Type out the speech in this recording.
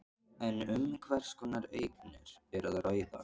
En um hvers konar eignir er að ræða?